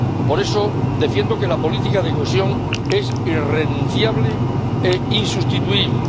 Por eso defiendo que la política de cohesión es irrenunciable e insustituible.